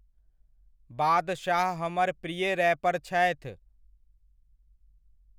बादशाह हमर प्रिय रैपर छथि।